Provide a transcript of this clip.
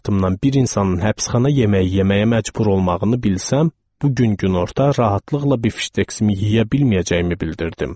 Bir insanın həbsxana yeməyi yeməyə məcbur olmağını bilsəm, bu gün günorta rahatlıqla bifşteksimi yeyə bilməyəcəyimi bildirdim.